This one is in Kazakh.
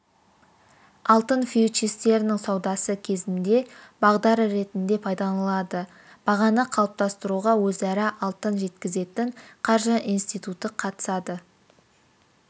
алтын фьючерстерінің саудасы кезінде бағдар ретінде пайдаланылады бағаны қалыптастыруға өзара алтын жеткізетін қаржы институты қатысады